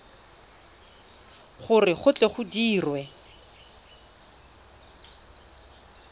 gore go tle go dirwe